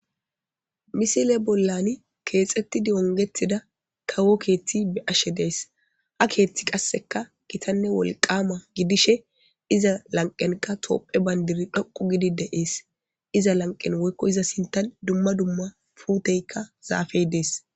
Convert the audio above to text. Misile bollan keexetti diongetida kawo keeththi be ashe dees ha keeththi qasseka kitanne wolqama gidishe iza lanqenka toopphe bayndiri dhoqu gidi deees iza lanqen woykko iza sintan dumma dumma puuteykka zaafey dees.